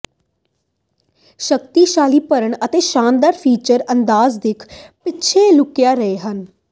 ਸ਼ਕਤੀਸ਼ਾਲੀ ਭਰਨ ਅਤੇ ਸ਼ਾਨਦਾਰ ਫੀਚਰ ਅੰਦਾਜ਼ ਦਿੱਖ ਪਿੱਛੇ ਲੁਕਿਆ ਰਹੇ ਹਨ